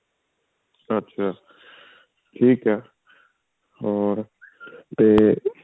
ਅੱਛਿਆ ਠੀਕ ਹੈ ਹਰੋ ਤੇ